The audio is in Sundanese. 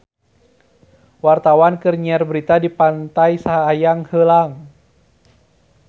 Wartawan keur nyiar berita di Pantai Sayang Heulang